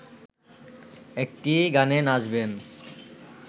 একটি গানে নাচবেন